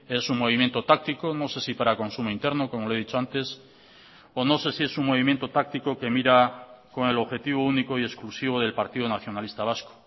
es un movimiento táctico no sé si para consumo interno como le he dicho antes o no sé si es un movimiento táctico que mira con el objetivo único y exclusivo del partido nacionalista vasco